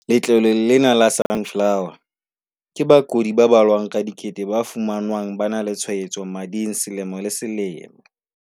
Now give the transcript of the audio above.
Letloleng lena la Sunflower, ke bakudi ba balwang ka dikete ba fumanwang ba na le tshwaetso mading selemo le selemo.